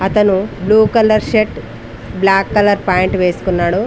అతను blue colour shirt black colour pant వేసుకున్నాడు.